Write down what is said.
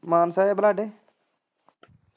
ਮਾਨਸਾ ਜਾਂ ਬਲਾਡੇ।